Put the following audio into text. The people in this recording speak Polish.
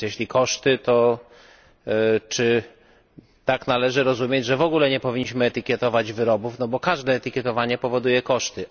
Więc jeśli koszty, to czy to tak należy rozumieć, że w ogóle nie powinniśmy etykietować wyrobów, bo każde etykietowanie powoduje koszty?